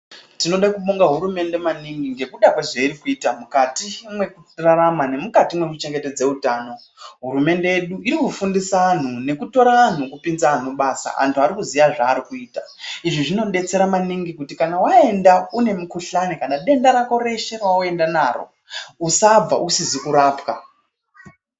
Tinode kubonge hurumende maningi nhezveirikuita mukati mwekurarama nemukati mwekuchengetedze utano. Hurumende yedu iri kufundisa qnhu nekutora anhu kupinza kubasa antu arikuziya zvaarikuita. izvi zvinodetserq maningi kuti kqnq une mukhuhlane kana denda reshe rewaenda naro usabva usizi kurapwa.